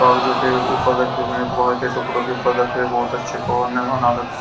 कागजों के ऊपर रखे हुए हैंकबार के टुकड़ों के ऊपर रखे हुए बहुत अच्छे ।